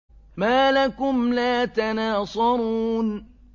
مَا لَكُمْ لَا تَنَاصَرُونَ